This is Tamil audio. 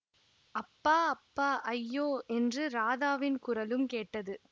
அப்பா அப்பா ஐயோ என்று ராதாவின் குரலும் கேட்டது